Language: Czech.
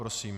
Prosím.